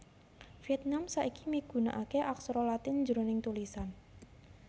Viètnam saiki migunakaké aksara Latin jroning tulisan